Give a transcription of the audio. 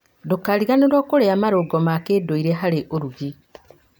Ndũkariganĩrwo kũrĩa marũngo ma kĩndũire harĩ ũrugi.